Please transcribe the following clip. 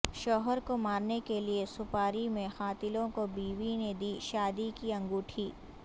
شوہر کو مارنے کے لئے سپاری میں قاتلوں کو بیوی نے دی شادی کی انگھوٹی